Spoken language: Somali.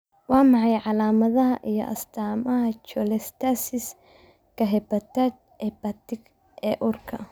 Waa maxay calaamadaha iyo astaamaha cholestasis-ka-hepatic ee uurka?